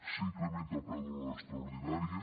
s’incrementa el preu de l’hora extraordinària